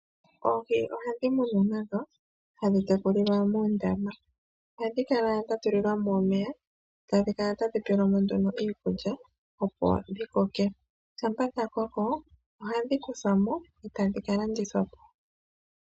Oohi ohadhi munwa nadho, hadhi tekulilwa muundama. Ohadhi kala dha tulilwa mo omeya, tadhi kala tadhi pelwa mo nduno iikulya opo dhi koke. Shampa dha koko ohadhi kuthwa mo e ta dhi ka landithwa po.